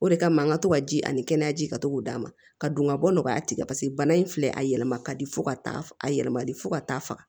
O de kama n ka to ka ji ani kɛnɛyaji ka to k'o d'a ma ka don ka bɔ nɔgɔya tigi la paseke bana in filɛ a yɛlɛma ka di fo ka taa a yɛlɛmali fo ka taa faga